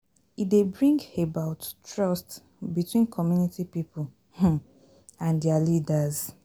E dey bring about trust between community pipo um and their leaders